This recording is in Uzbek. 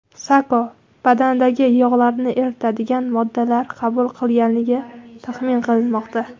Sako badandagi yog‘larni eritadigan moddalar qabul qilganligi taxmin qilinmoqda.